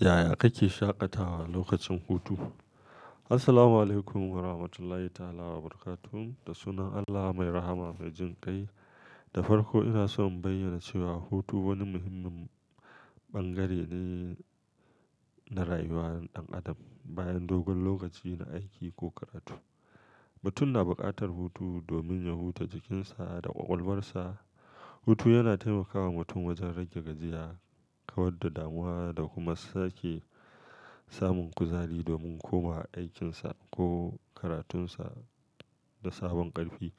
Yaya kake shaƙatawa lokacin hutu? Assalamualaikum Warahmatullahi Ta'ala Wabarakatuh. Da sunan Allah mai rahama mai jin kai. Da farko ina so in bayyana cewa hutu wani muhimmin bangare ne na rayuwar ɗan adam bayan dogon lokaci na aiki ko karatu. Mutum na buƙatar hutu domin ya huta jikinsa da ƙwaƙwalarsa. Hutu yana taimaka wa mutum wajen rage gajiya, kawar da damuwa da kuma sake samun kuzari domin komawa a aikinsa ko karatunsa da sabon ƙarfi.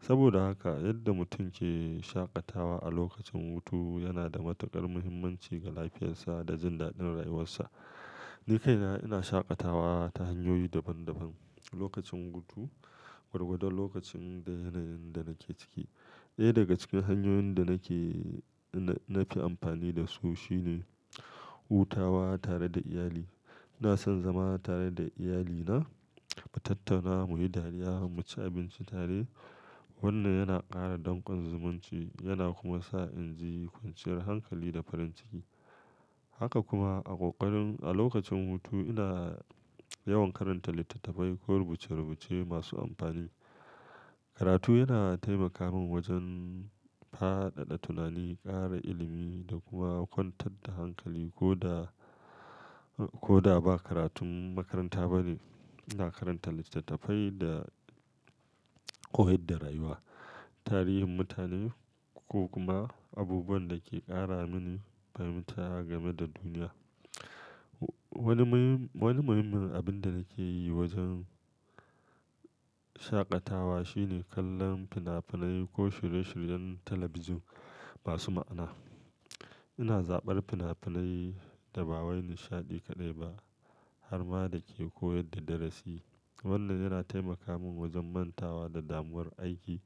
Saboda haka yadda mutum ke shaƙatawa a lokacin hutu yana da matuƙar muhimmanci ga lafiyarsa da jin daɗin rayuwarsa. Nikaina ina shaƙatawa ta hanyoyi daban daban lokacin hutu, gwargwadon lokacin da yanayin da nake ciki. Ɗaya daga cikin hanyoyin da nake-- na fi amfani da su shine hutawa tare da iyali. Ina son zama tare da iyalina, mu tattauna, mu yi dariya, mu ci abinci tare. Wannan yana ƙara danƙon zumunci yana kuma sa in ji ƙwanciyar hankali da farin ciki. Haka kuma a ƙoƙarin a lokacin hutu ina yawan karanta littattafai ko rubuce-rubuce masu amfani. Karatu yana taimaka min wajen faɗaɗa tunani, ƙara ilimi da kuma kwantar da hankali. Ko da, ko da ba karatun makaranta bane, ina karanta littattafai da, koyar da rayuwa, tarihin mutane ko kuma abubuwan da ke ƙara mini fahimta game da duniya. Wani muhimmin abin da nake yi wajen shaƙatawa shine kallon fina-finai ko shirye-shiryen talabijin masu ma'ana. Ina zaɓar fina-finai da ba wai nishaɗi kaɗai ba har ma da ke koyar da darasi. Wannan yana taimaka min wajen mantawa da damuwar aiki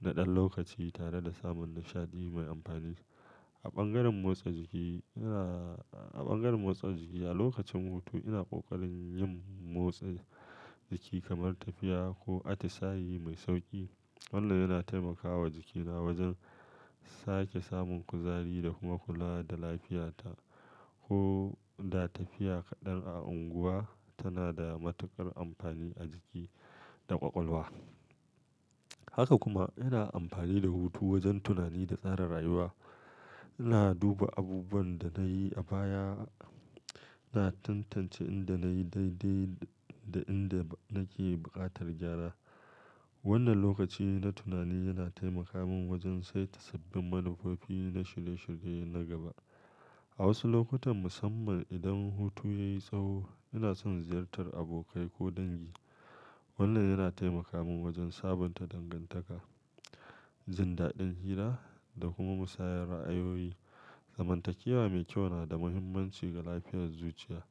na ɗan lokaci tare da samun nishaɗi mai amfani. A bangaren motsa jiki ina, a bangaren motsa jiki a lokacin hutu ina ƙoƙarin yin motsa jiki kamar tafiya ko atisaye mai sauƙi. Wannan yana taimakawa jikina wajen sake samun kuzari da kuma kula da lafiyata. Ko da tafiya kaɗan a unguwa tana da matuƙar amfani a jiki da ƙwaƙwalwa. Haka kuma ina amfani da hutu wajen tunani da tsara rayuwa. Ina duba abubuwan da na yi a baya, ina tantance inda na yi daidai da inda nake buƙatar gyara. Wannan lokaci na tunani yana taimaka min wajen saita sabbin manufofi na shirye-shirye na gaba. A wasu lokutan musamman idan hutu ya yi tsawo ina son ziyartar abokai ko dangi. Wannan yana taimaka min wajen sabunta dangantaka, jin daɗin hira da kuma musayar ra'ayoyi. Zamantakewa mai kyau na da muhimmanci ga lafiyar zuciya.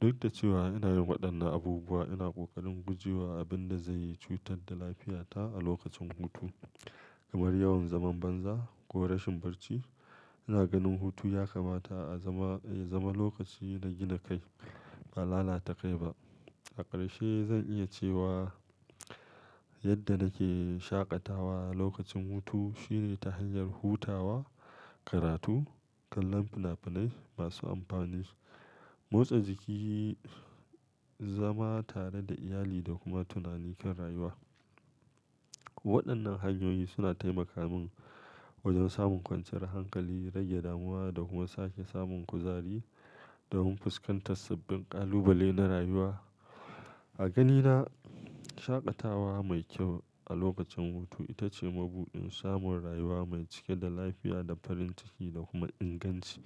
Duk da cewa ina yin waɗannan abubuwa, ina ƙoƙarin guje wa abin da zai cutar da lafiyata a lokacin hutu, kamar yawan zaman banza ko rashin barci. Ina ganin hutu ya kamata a zama, ya zama lokaci na gina kai, ba lalata kai ba. A ƙarshe zan iya cewa yadda nake shaƙatawa lokacin hutu shine ta hanyar hutawa, karatu, kallon fina-finai masu amfani, motsa jiki, zama tare da iyali da kuma tunani kan rayuwa. Waɗannan hanyoyi suna taimaka min wajen samun ƙwanciyar hankali, rage damuwa da kuma sake samun kuzari domin fuskantar sabbin ƙalubale na rayuwa. A ganina shaƙatawa mai kyau a lokacin hutu ita ce mabuɗin samun rayuwa mai cike da lafiya da farin ciki da kuma inganci.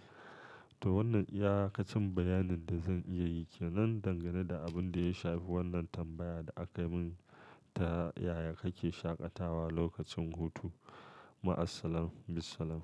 To wannan iyakacin bayanin da zan iya yi ke nan dangane da abin da ya shafi wannan tambayar da aka min ta "Yaya kake shaƙatawa lokacin hutu?" Ma Assalam bissalam.